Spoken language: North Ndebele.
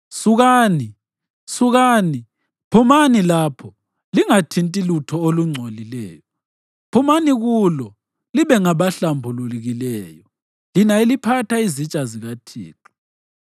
Sukani, sukani, phumani lapho! Lingathinti lutho olungcolileyo! Phumani kulo libe ngabahlambulukileyo, lina eliphatha izitsha zikaThixo.